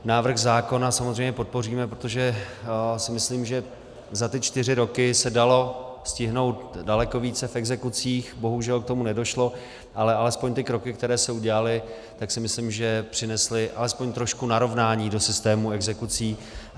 Návrh zákona samozřejmě podpoříme, protože si myslím, že za ty čtyři roky se dalo stihnout daleko více v exekucích, bohužel k tomu nedošlo, ale alespoň ty kroky, které se udělaly, tak si myslím, že přinesly alespoň trošku narovnání do systému exekucí.